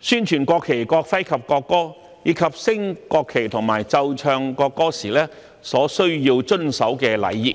宣傳國旗、國徽及國歌，以及升國旗和奏唱國歌時所需遵守的禮儀。